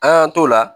An y'an t'o la